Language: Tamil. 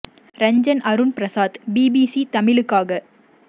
ரஞ்சன் அருண் பிரசாத் பிபிசி தமிழுக்காக